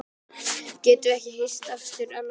Getum við ekki hist aftur annað kvöld?